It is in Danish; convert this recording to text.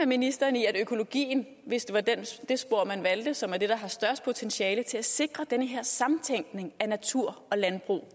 ministeren i at økologien hvis det var det det spor man valgte som er det der har størst potentiale til at sikre den her samtænkning af natur og landbrug